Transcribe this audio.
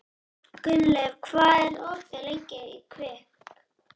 Gunnleif, hvað er opið lengi í Kvikk?